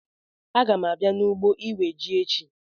Aga m abịa n'ugbo iwe ji echi